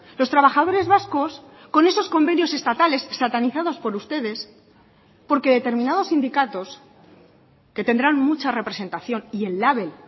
los trabajadores vascos con esos convenios estatales satanizados por ustedes porque determinados sindicatos que tendrán mucha representación y el label